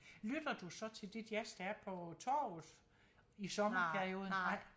Lytter du så til det jazz der er på torvet i sommerperioden nej